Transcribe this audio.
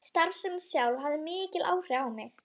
Starfsemin sjálf hafði mikil áhrif á mig.